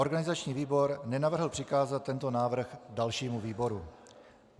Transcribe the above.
Organizační výbor nenavrhl přikázat tento návrh dalšímu výboru.